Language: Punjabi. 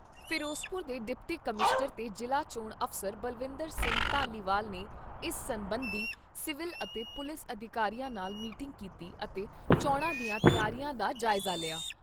ਫਿਰੋਜ਼ਪੁਰ ਦੇ ਡਿਪਟੀ ਕਮਿਸ਼ਨਰ ਤੇ ਜ਼ਿਲ੍ਹਾ ਚੋਣ ਅਫਸਰ ਬਲਵਿੰਦਰ ਸਿੰਘ ਧਾਲੀਵਾਲ ਨੇ ਇਸ ਸਬੰਧੀ ਸਿਵਲ ਅਤੇ ਪੁਲਿਸ ਅਧਿਕਾਰੀਆਂ ਨਾਲ ਮੀਟਿੰਗ ਕੀਤੀ ਅਤੇ ਚੋਣਾਂ ਦੀਆਂ ਤਿਆਰੀਆਂ ਦਾ ਜਾਇਜ਼ਾ ਲਿਆ।